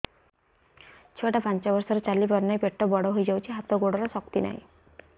ଛୁଆଟା ପାଞ୍ଚ ବର୍ଷର ଚାଲି ପାରୁନାହଁ ପେଟ ବଡ ହୋଇ ଯାଉଛି ହାତ ଗୋଡ଼ର ଶକ୍ତି ନାହିଁ